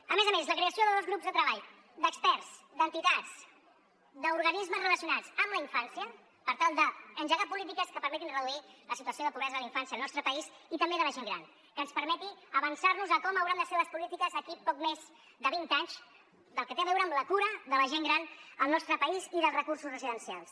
a més a més la creació de dos grups de treball d’experts d’entitats d’organismes relacionats amb la infància per tal d’engegar polítiques que permetin reduir la situació de pobresa de la infància al nostre país i també de la gent gran que ens permeti avançar nos a com hauran de ser les polítiques d’aquí a poc més de vint anys pel que té a veure amb la cura de la gent gran al nostre país i dels recursos residencials